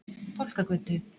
Fálkagötu